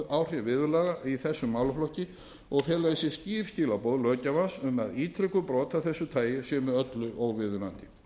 varnaðaráhrif viðurlaga í þessum málaflokki og fela í sér skýr skilaboð löggjafans um að ítrekuð brot af þessu tagi séu með öllu óviðunandi